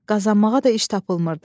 Qazanmağa da iş tapılmırdı.